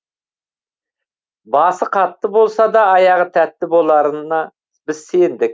басы қатты болса да аяғы тәтті боларына біз сендік